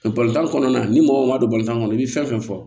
kɔnɔna na ni mɔgɔ min ma don balontan kɔnɔ i bɛ fɛn fɛn fɔ